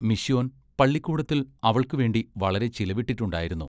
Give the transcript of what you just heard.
Mission പള്ളിക്കൂടത്തിൽ അവൾക്ക് വേണ്ടി വളരെ ചിലവിട്ടിട്ടുണ്ടായിരുന്നു.